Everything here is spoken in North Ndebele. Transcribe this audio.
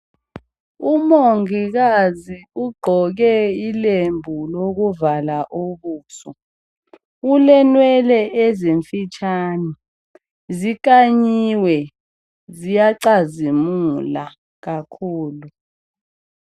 Omungikazi ugqoke ilembu lokuvala ubuso. Ulenwele ezimfitshane, zikhanyiwe, ziyacazimila. Kakhulu.